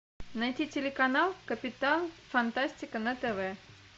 найти телеканал капитан фантастика на тв